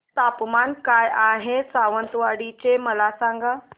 तापमान काय आहे सावंतवाडी चे मला सांगा